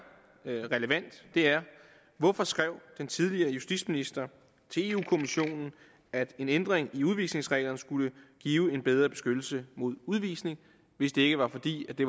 relevant er hvorfor skrev den tidligere justitsminister til europa kommissionen at en ændring af udvisningsreglerne skulle give en bedre beskyttelse mod udvisning hvis det ikke var fordi det